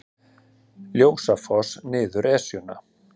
Ljósafoss niður Esjuna